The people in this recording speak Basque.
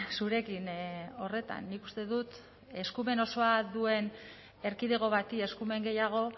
zurekin horretan nik uste dut eskumen osoa duen erkidego bati eskumen gehiago